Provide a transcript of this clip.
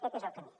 aquest és el camí